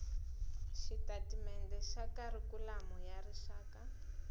xitatimende xa kharikhulamu ya rixaka